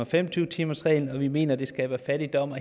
fem og tyve timersreglen og at vi mener at det skaber fattigdom